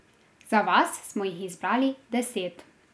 Za vas smo jih izbrali deset.